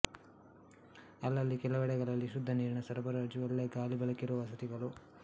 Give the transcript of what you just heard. ಅಲ್ಲಲ್ಲಿ ಕೆಲವೆಡೆಗಳಲ್ಲಿ ಶುದ್ಧ ನೀರಿನ ಸರಬರಾಜು ಒಳ್ಳೆ ಗಾಳಿ ಬೆಳಕಿರುವ ವಸತಿಗಳು